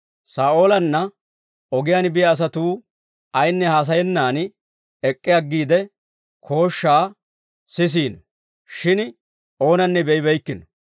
Saa'oolanna ogiyaan biyaa asatuu ayinne haasayennan ek'k'i aggiide, kooshshaa sisiino; shin oonanne be'ibeykkino.